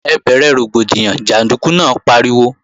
Ẹ bẹ̀rẹ̀ rògbòdìyàn, jàndúkú náà pariwo!